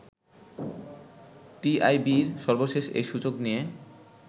টিআইবির সর্বশেষ এই সূচক নিয়ে